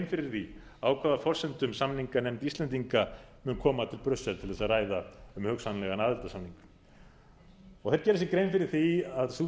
fyrir því á hvaða forsendum samninganefnd íslendinga mun koma til brussel til þess að ræða um hugsanlegan aðildarsamning þeir gera sér grein fyrir því að sú